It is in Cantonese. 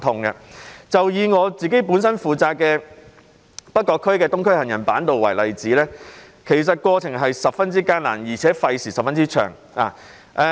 以我本身負責的北角區的東區走廊下的行人板道為例，過程十分艱難，而且費時甚長。